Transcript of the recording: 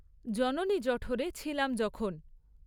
জননী জঠরে ছিলাম যখন।